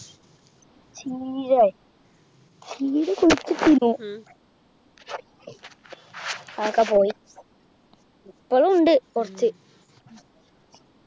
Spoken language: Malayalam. ചീരെ ചീര കുഴിച്ചിട്ടിനു അതൊക്കെ പോയി ഇപ്പോളും ഉണ്ട് കുറച്